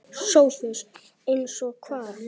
SOPHUS: Eins og hvað?